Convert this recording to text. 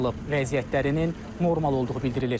Vəziyyətlərinin normal olduğu bildirilir.